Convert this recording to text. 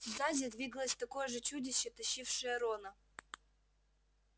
сзади двигалось такое же чудище тащившее рона